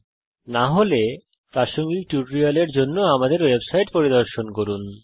যদি না হয় প্রাসঙ্গিক টিউটোরিয়ালের জন্য আমাদের ওয়েবসাইট httpspoken tutorialorg পরিদর্শন করুন